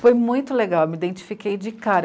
Foi muito legal, eu me identifiquei de cara.